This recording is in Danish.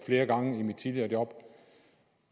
flere gange i mit tidligere job